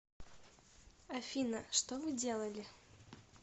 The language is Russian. афина что вы делали